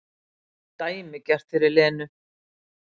Dæmigert fyrir Lenu.